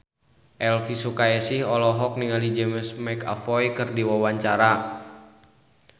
Elvy Sukaesih olohok ningali James McAvoy keur diwawancara